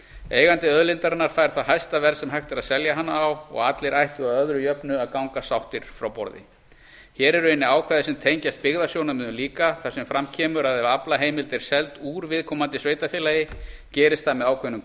eigandi auðlindarinnar fær það hæsta verð sem hægt er að selja hana á og allir ættu að öðru jöfnu að ganga sáttir frá borði hér eru inni ákvæði sem tengjast byggðasjónarmiðum líka þar sem fram kemur að ef aflaheimild er seld ár viðkomandi sveitarfélagi gerist það með ákveðnum